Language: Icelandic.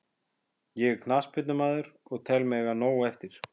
Ég er knattspyrnumaður og tel mig eiga nóg eftir.